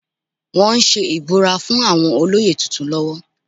Wọ́n ń ṣe ìbúra fún àwọn olóyè tuntun lọ́wọ́